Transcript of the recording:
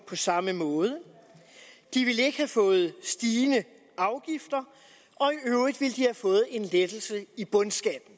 på samme måde de ville ikke have fået stigende afgifter og i øvrigt ville de have fået en lettelse i bundskatten